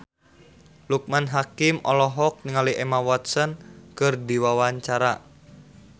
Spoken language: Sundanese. Loekman Hakim olohok ningali Emma Watson keur diwawancara